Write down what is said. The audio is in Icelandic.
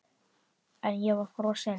Ég var frosin.